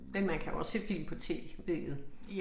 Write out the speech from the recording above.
Men man kan også se film på tv'et